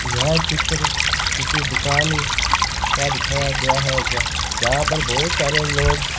यहाँ चित्र किसी दुकान का दिखाया गया है जहा पे बहुत सारे लोग --